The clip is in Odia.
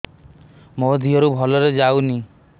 ମୋ ଦିହରୁ ଭଲରେ ଯାଉନି